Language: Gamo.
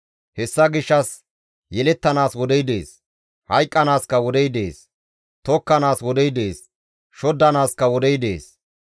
Hessa gishshas yelettanaas wodey dees; hayqqanaaskka wodey dees. tokkanaas wodey dees; shoddanaaskka wodey dees.